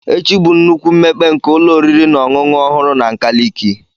Echi bụ nnukwu mmekpe nke ụlọ oriri na ọṅụṅụ ọhụrụ na nkaliki.